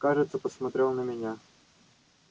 кажется посмотрел на меня